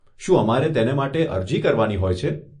શું અમારે તેને માટે અરજી કરવાની હોય છે?